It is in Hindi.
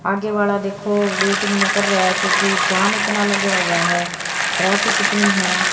आगे वाला देखो वेटिंग मे कर रेया है क्योकि जाम इतना लगा हुआ है ट्रैफिक इतनी है।